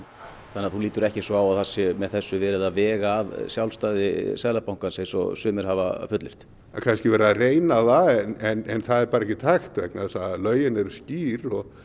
þannig að þú lítur ekki svo á að það sé með þessu verið að vega að sjálfstæði Seðlabankans eins og sumir hafa fullyrt það er kannski verið að reyna það en bara ekki hægt vegna þess að lögin eru skýr og